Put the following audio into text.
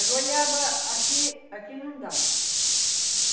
A goiaba aqui, aqui não dá.